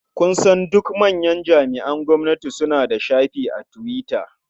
Kusan duk manyan jami'an gwamnati suna da shafi a Twitter.